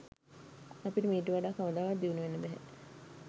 අපිට මීට වඩා කවදාවත් දියුණු වෙන්න බැහැ.